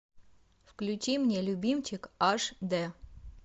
включи мне любимчик аш д